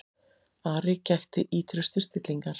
Ari gætti ýtrustu stillingar.